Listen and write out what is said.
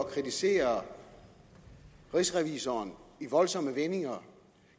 kritisere rigsrevisoren i voldsomme vendinger